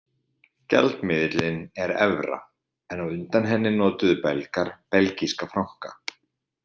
Gjaldmiðillinn er evra en á undan henni notuðu Belgar belgíska franka.